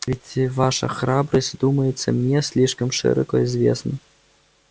ведь ваша храбрость думается мне слишком широко известна